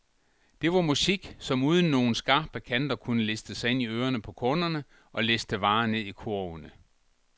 Det var musik, som uden nogen skarpe kanter kunne liste sig ind i ørene på kunderne, og liste varer ned i kurvene.